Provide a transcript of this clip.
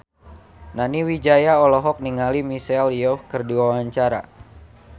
Nani Wijaya olohok ningali Michelle Yeoh keur diwawancara